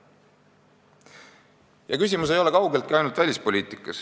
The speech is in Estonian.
Ja küsimus ei ole kaugeltki ainult välispoliitikas.